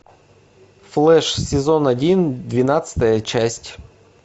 флэш сезон один двенадцатая часть